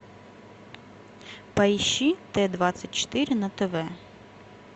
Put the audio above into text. поищи т двадцать четыре на тв